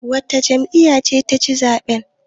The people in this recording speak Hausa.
wacce jam'iyyar ce ta ci zaɓen?